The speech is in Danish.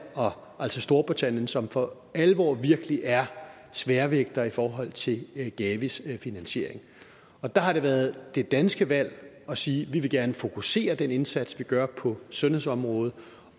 og altså storbritannien som for alvor virkelig er sværvægtere i forhold til gavis finansiering og der har det været det danske valg at sige vi vil gerne fokusere den indsats vi gør på sundhedsområdet